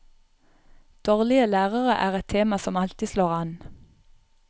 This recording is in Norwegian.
Dårlige lærere er et tema som alltid slår an.